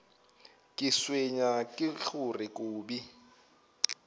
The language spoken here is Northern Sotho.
ke tshwenywa ke gore kobi